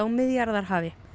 Miðjarðarhafi